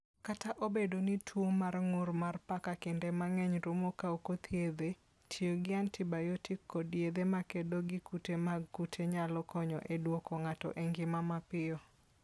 Kata obedo ni tuwo mar ng'ur mar paka kinde mang'eny rumo ka ok othiedhe, tiyo gi antibayotik kod yedhe ma kedo gi kute mag kute nyalo konyo e duoko ng'ato e ngima mapiyo.